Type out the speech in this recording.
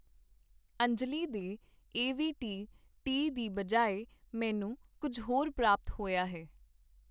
ਅੰਜਲੀ ਦੇ ਏਵੀਟੀ ਟੀ ਦੀ ਬਜਾਏ ਮੈਨੂੰ ਕੁੱਝ ਹੋਰ ਪ੍ਰਾਪਤ ਹੋਇਆ ਹੈ